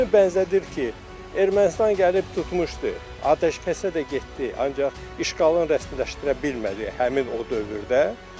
Bunu bənzədir ki, Ermənistan gəlib tutmuşdu, atəşkəsə də getdi, ancaq işğalı rəsmiləşdirə bilmədi həmin o dövrdə.